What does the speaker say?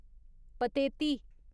Pateti